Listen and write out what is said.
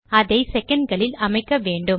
இதை செகண்ட் களில் அமைக்க வேண்டும்